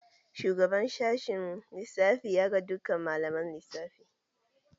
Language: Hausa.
Shugaban sashen lissafi ya ga dukkan malaman lissafi.